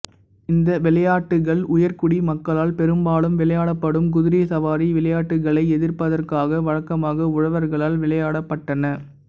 இந்த விளையாட்டுக்கள் உயர்குடி மக்களால் பெரும்பாலும் விளையாடப்படும் குதிரை சவாரி விளையாட்டுக்களை எதிர்ப்பதற்காக வழக்கமாக உழவர்களால் விளையாடப்பட்டன